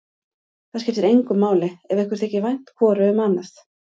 Það skiptir engu máli ef ykkur þykir vænt hvoru um annað.